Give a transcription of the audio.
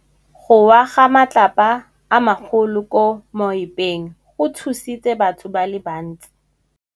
Go wa ga matlapa a magolo ko moepong go tshositse batho ba le bantsi.